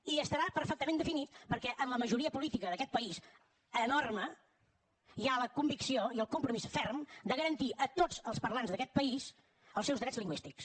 i estarà perfectament definit perquè en la majoria política d’aquest país enorme hi ha la convicció i el compromís ferm de garantir a tots els parlants d’aquest país els seus drets lingüístics